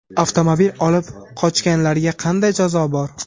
Avtomobil olib qochganlarga qanday jazo bor?.